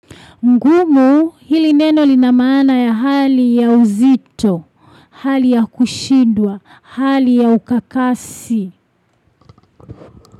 Ngumu hili neno linamana ya hali ya uzito, hali ya kushidwa, hali ya ukakasi.